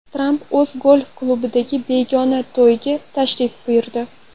Tramp o‘z golf-klubidagi begona to‘yga tashrif buyurdi.